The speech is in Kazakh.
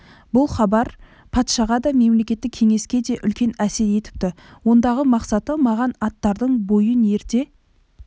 бұл хабар патшаға да мемлекеттік кеңеске де үлкен әсер етіпті ондағы мақсаты маған аттардың бойын ерте